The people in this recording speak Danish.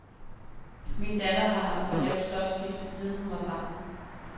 Min datter har haft for lavt stofskifte, siden hun var barn.